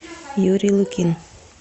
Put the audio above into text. юрий лукин